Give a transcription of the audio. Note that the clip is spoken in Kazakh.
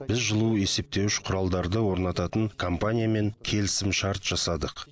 біз жылу есептеуіш құралдарды орнататын компаниямен келісімшарт жасадық